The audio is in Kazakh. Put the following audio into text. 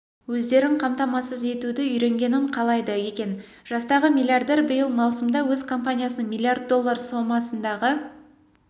өздерін қамтамасыз етуді үйренгенін қалайды екен жастағы миллиардер биыл маусымда өз компаниясының миллиард доллар сомасындағы